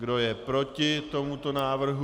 Kdo je proti tomuto návrhu?